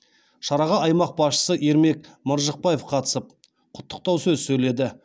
шараға аймақ басшысы ермек маржықпаев қатысып құттықтау сөз сөйледі